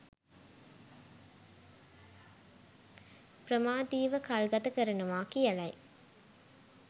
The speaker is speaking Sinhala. ප්‍රමාදීව කල්ගත කරනවා කියලයි